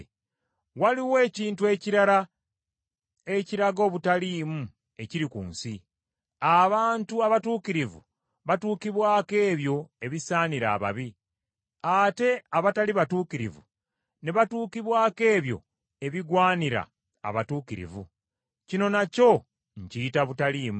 Waliwo ekintu ekirala ekiraga obutaliimu ekiri ku nsi: abantu abatuukirivu batukibwako ebyo ebisaanira ababi, ate abatali batuukirivu ne batuukibwako ebyo ebigwanira abatuukirivu. Kino nakyo nkiyita butaliimu.